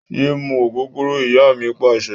Yé mú ògógóró! Ìyá mi Pàṣẹ.